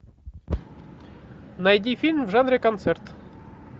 найди фильм в жанре концерт